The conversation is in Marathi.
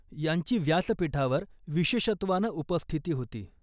यांची व्यासपीठावर विशेषत्वानं उपस्थिती होती.